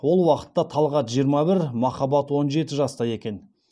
ол уақытта талғат жиырма бір махаббат он жеті жаста екен